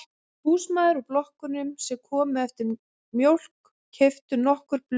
Húsmæður úr blokkunum sem komu eftir mjólk keyptu nokkur blöð af